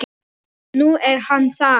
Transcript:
Og nú er hann það.